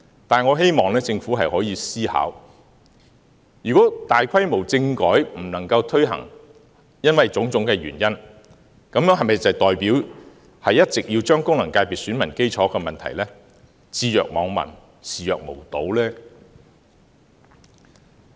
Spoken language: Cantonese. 但是，我希望政府可以思考，如果大規模政改因為種種原因無法推行，這是否代表一直要將功能界別選民基礎的問題置若罔聞、視若無睹呢？